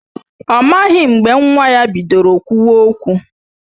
Ọ maghị mgbe nwa ya bidoro kwụwa okwu